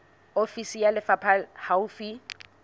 ofisi ya lefapha le haufi